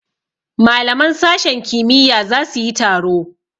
Malaman sashen kimiyya za su yi taro.